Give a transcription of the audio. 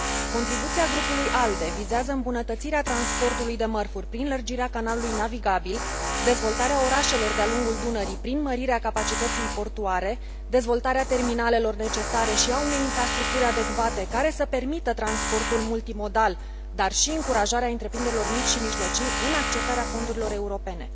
Contribuția grupului ALDE vizează îmbunătățirea transportului de mărfuri prin lărgirea canalului navigabil, dezvoltarea orașelor de a lungul Dunării, prin mărirea capacității portuare, dezvoltarea terminalelor necesare și a unei infrastructuri adecvate, care să permită transportul multimodal, dar și încurajarea întreprinderilor mici și mijlocii în accesarea fondurilor europene.